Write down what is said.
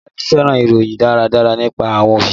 Bolaji fẹ́ràn ìròyìn Ìdárayá nípa àwọn Òṣèré